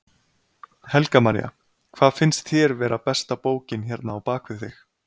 Helga María: Hvað finnst þér vera besta bókin hérna á bakvið þig?